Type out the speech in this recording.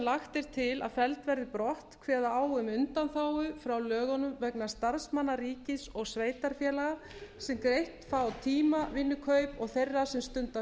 lagt er til að felld verði brott kveða á um undanþágu frá lögunum vegna starfsmanna ríkis og sveitarfélaga sem greitt fá tímavinnukaup og þeirra sem stunda